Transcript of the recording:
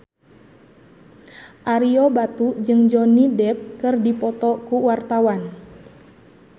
Ario Batu jeung Johnny Depp keur dipoto ku wartawan